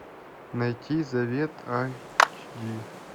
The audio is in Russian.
найти завет айч ди